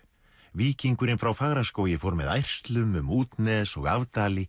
víkingurinn frá Fagraskógi fór með ærslum um útnes og